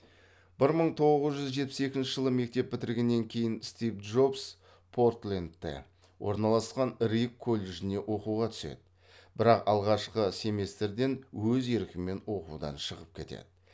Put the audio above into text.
бір мың тоғыз жүз жетпіс екінші жылы мектеп бітіргеннен кейін стив джобс портлендте орналасқан рид колледжіне оқуға түседі бірақ алғашқы семестрден өз еркімен оқудан шығып кетеді